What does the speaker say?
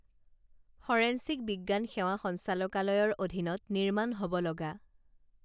forensic বিজ্ঞান সেৱা সঞ্চালকালয়ৰ অধীনত নিৰ্মাণ হব লগা